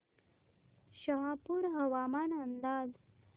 शहापूर हवामान अंदाज